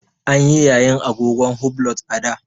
An yi yayin agogon hublot a da.